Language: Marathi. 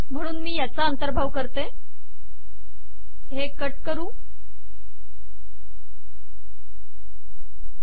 म्हणून मी याचा अंतर्भाव करतो कट पेस्ट